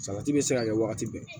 Salati bɛ se ka kɛ wagati bɛɛ